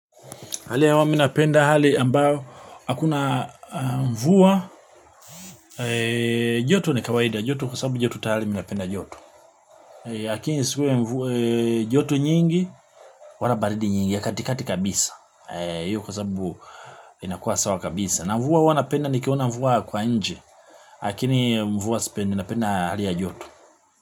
Hali ya hewa minapenda hali ambayo akuna mvua joto ni kawaida joto kwa sababu joto tayari minapenda joto. Lakini isikuwe mvua joto nyingi wala baridi nyingi ya katikati kabisa. Hiyo kwa sababu inakuwa sawa kabisa. Na mvua huwa napenda ni kiona mvua kwa nje. Lakini mvua sipendi napenda hali ya joto.